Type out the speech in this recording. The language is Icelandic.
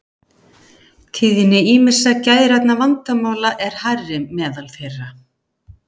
Tíðni ýmissa geðrænna vandamála er hærri meðal þeirra.